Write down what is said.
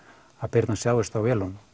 Birna sjáist á vélunum